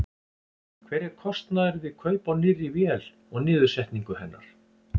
Hver er kostnaður við kaup á nýrri vél og niðursetningu hennar?